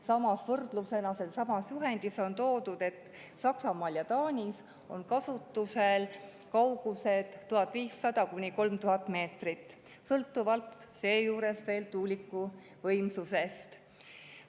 Samas võrdlusena: sellessamas juhendis on toodud, et Saksamaal ja Taanis on kasutusel kaugused 1500–3000 meetrit, sõltuvalt veel tuuliku võimsusest.